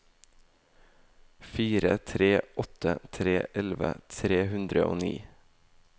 fire tre åtte tre elleve tre hundre og ni